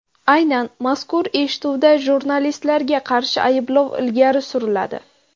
Aynan mazkur eshituvda jurnalistlarga qarshi ayblov ilgari suriladi.